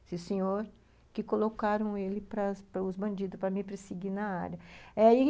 esse senhor, que colocaram ele para para os bandidos, para me perseguir na área. É ai